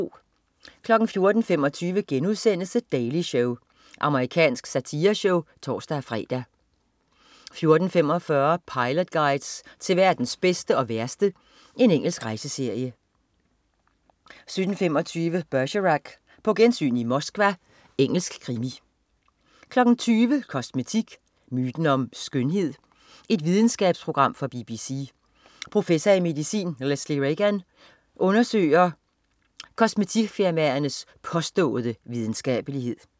14.25 The Daily Show.* Amerikansk satireshow (tors-fre) 14.45 Pilot Guides til verdens bedste og værste. Engelsk rejseserie 17.25 Bergerac: På gensyn i Moskva. Engelsk krimi 20.00 Kosmetik. Myten om skønhed? Videnskabsprogram fra BBC. Professor i medicin, Lesley Regan, undersøger hun kosmetikfirmaernes påståede videnskabelighed